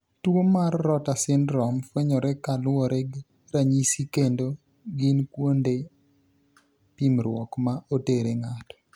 Tuo mar rotor syndrome fwenyore ka luwore gi ranyisi kendo ginkuonde pimruok ma otere ng'ato.